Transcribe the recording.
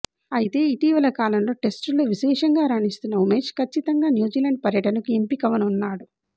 అయితే ఇటీవలి కాలంలో టెస్టుల్లో విశేషంగా రాణిస్తున్న ఉమేష్ కచ్చితంగా న్యూజిలాండ్ పర్యటనకు ఎంపికవనున్నాడు